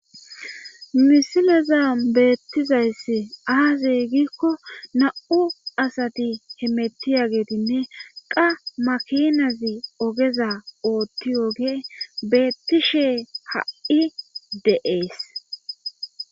Misileza beettizayssi aazey gikko nam7u asati he mettiya geetinne qa makinazi ogeza ootti oge beettishe ha7i de7ees.